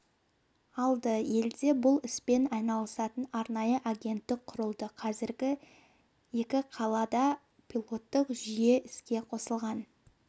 алды елде бұл іспен айналысатын арнайы агенттік құрылды қазір екі қалада пилоттық жүйе іске қосылған